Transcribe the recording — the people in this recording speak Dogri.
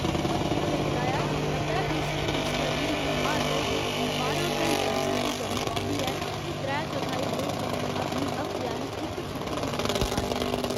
मंत्री होरें गलाया जे नब्बै फीसद पुलसकर्मियें गी हर रोज बारां घैंटें दी ड्यूटी करनी पौंदी ऐ ते त्रै चौथाई लोक अपनी हफ्ते आली इक छुट्टी बी नेंई लेई पांदे न।